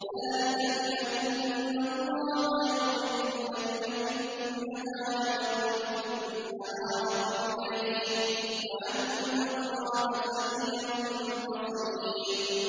ذَٰلِكَ بِأَنَّ اللَّهَ يُولِجُ اللَّيْلَ فِي النَّهَارِ وَيُولِجُ النَّهَارَ فِي اللَّيْلِ وَأَنَّ اللَّهَ سَمِيعٌ بَصِيرٌ